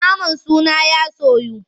Naman suna ya soyu.